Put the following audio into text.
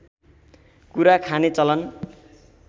कुरा खाने चलन